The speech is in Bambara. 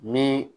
Ni